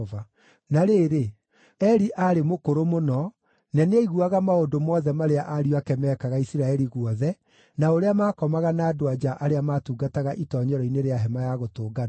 Na rĩrĩ, Eli aarĩ mũkũrũ mũno, na nĩaiguaga maũndũ mothe marĩa ariũ ake meekaga Isiraeli guothe, na ũrĩa maakomaga na andũ-a-nja arĩa maatungataga itoonyero-inĩ rĩa Hema-ya-Gũtũnganwo.